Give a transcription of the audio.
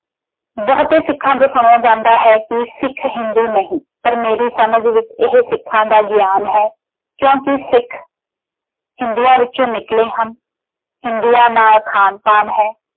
ਬਹੁਤੇ ਸਿੱਖਾਂ ਤੋ ਸੁਣਿਆ ਜਾਂਦਾ ਹੈ ਕਿ ਸਿੱਖ ਹਿੰਦੂ ਨਹੀਂ ਪਰ ਮੇਰੀ ਸਮਝ ਵਿੱਚ ਇਹ ਸਿੱਖਾਂ ਦਾ ਗਿਆਨ ਹੈ ਕਿਉਂਕਿ ਸਿੱਖ ਹਿੰਦੂਆਂ ਵਿੱਚੋਂ ਨਿਕਲੇ ਹਨ ਹਿੰਦੂਆਂ ਨਾਲ ਖਾਣ-ਪਾਣ ਹੈ।